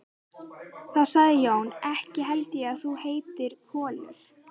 Þá sagði Jón: Ekki held ég að þú heitir Kollur.